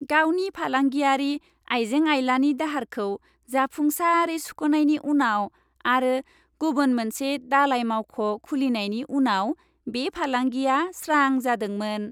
गावनि फालांगियारि आइजें आइलानि दाहारखौ जाफुंसारै सुख'नायनि उनाव आरो गुबुन मोनसे दालाय मावख' खुलिनायनि उनाव बे फालांगिया स्रां जादोंमोन।